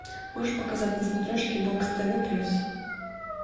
можешь показать на смотрешке бокс тв плюс